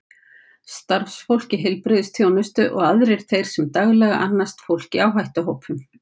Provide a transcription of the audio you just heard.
Starfsfólk heilbrigðisþjónustu og aðrir þeir sem daglega annast fólk í áhættuhópum.